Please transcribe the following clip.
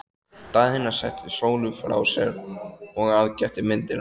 Daðína setti Sólu frá sér og aðgætti myndirnar.